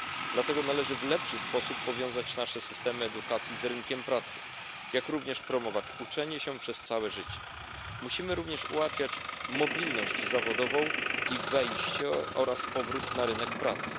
Dlatego należy w lepszy sposób powiązać nasze systemy edukacji z rynkiem pracy, jak również promować uczenie się przez całe życie. Musimy również ułatwiać mobilność zawodową i wejście oraz powrót na rynek pracy.